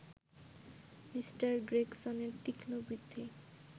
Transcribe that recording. Mr গ্রেগসনের তীক্ষ্মবৃদ্ধি